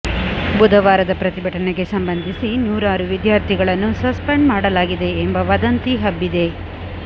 ಬುಧವಾರದ ಪ್ರತಿಭಟನೆಗೆ ಸಂಬಂಧಿಸಿ ನೂರಾರು ವಿದ್ಯಾರ್ಥಿಗಳನ್ನು ಸಸ್ಪೆಂಡ್ ಮಾಡಲಾಗಿದೆ ಎಂಬ ವದಂತಿ ಹಬ್ಬಿದೆ